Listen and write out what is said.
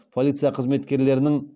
полиция қызметкерлерінің